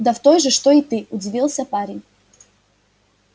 да в той же что и ты удивился парень